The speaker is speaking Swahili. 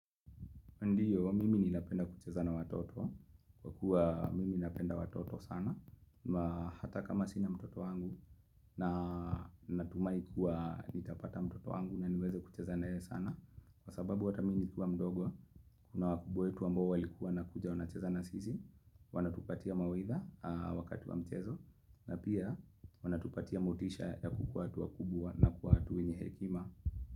Ndio, mimi ninapenda kuchezabna watoto, kwa kuwa mimi ninapenda watoto sana, ma hata kama sina mtoto wangu na natumahi kuwa nitapata mtoto wangu na niweze kuchezana ye sana. Kwa sababu ata mii ni kiwa mdogo, kuna wakubwa wetu ambao walikuwa na kuja wana chezana sisi, wanatupatia mawaitha wakati wa mchezo, na pia wanatupatia motisha ya kukuwa watu wa kubwa na kuwa watu wenye hekima.